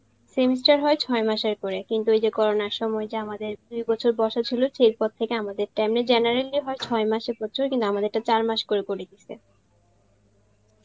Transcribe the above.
semester হয় ছয় মাসের করে কিন্তু ওই যে corona র সময় যে আমাদের দুই বছর বসা ছিল সেই পর থেকে আমাদের টা, এমনি generally হয় ছয় মাসের কিন্তু আমাদেরটা চার মাস করে করে দিয়েসে